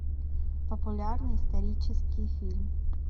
популярный исторический фильм